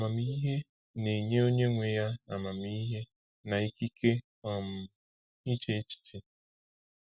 Amamihe na-enye onye nwe ya amamihe na ikike um iche echiche.